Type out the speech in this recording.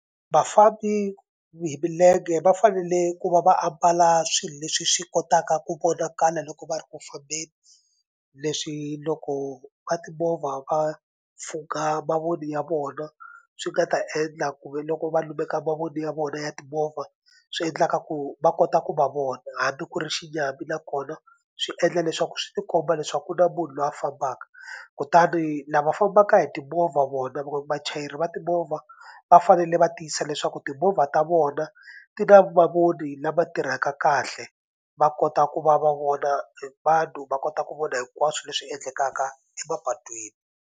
Vafambi hi milenge va fanele ku va va ambala swilo leswi swi kotaka ku vonakala loko va ri ku fambeni leswi loko va timovha va pfhuka mavoni ya vona swi nga ta endla kumbe loko va lumeka mavoni ya vona ya timovha swi endlaka ku va kota ku va vona hambi ku ri xinyami nakona swi endla leswaku swi ti komba leswaku ku na munhu loyi a fambaka kutani lava fambaka hi timovha vona vachayeri va timovha va fanele va tiyisisa leswaku timovha ta vona ti na mavoni lama tirhaka kahle va kota ku va va vona vanhu va kota ku vona hinkwaswo leswi endlekaka emapatwini.